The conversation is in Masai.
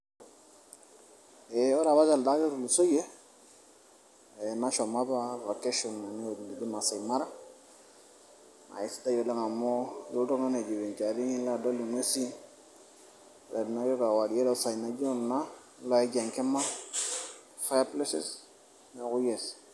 ore apa telde ari otulusoyie nashomo apa vacation enewueji neji maasai mara naa isidai oleng amu ilo oltung'ani aijivinjari nidol ing'ues ore teniaku kewarie toosai naijo kuna nilo aij enkima fire places neeku yes.